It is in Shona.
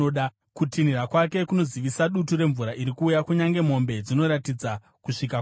Kutinhira kwake kunozivisa dutu remvura riri kuuya; kunyange mombe dzinoratidza kusvika kwaro.